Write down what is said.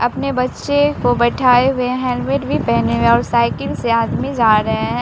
अपने बच्चे को बैठाए हुए हेलमेट भी पेहने हुए हैं और साइकिल से आदमी जा रहे हैं।